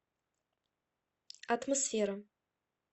атмосфера